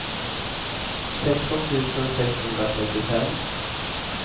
sexton tusen sexhundratrettiofem